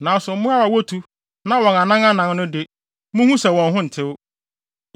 Nanso mmoawa a wotu na wɔwɔ anan anan no de, munhu sɛ wɔn ho ntew.